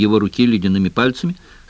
его руки ледяными пальцами